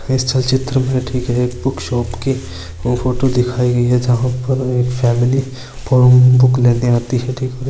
इस चलचित्र मे ठीक एक बुक शॉप की फोटो दिखाई गई हैं जहां पर एक फैमिली बुक लेने आती है ठीक है।